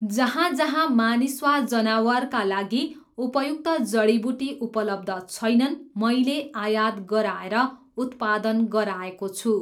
जहाँ जहाँ मानिस वा जनावरका लागि उपयुक्त जडीबुटी उपलब्ध छैनन्, मैले आयात गराएर उत्पादन गराएको छु।